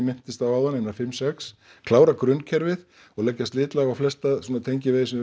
minntist á áðan einar fimm sex klára grunnkerfið og leggja slitlag á flesta tengivegi sem